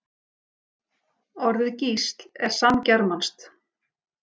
Orðið gísl er samgermanskt.